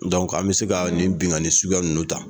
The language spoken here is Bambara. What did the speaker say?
Dɔnku an bɛ se ka nin binkani suguya ninnu ta.